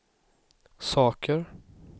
saker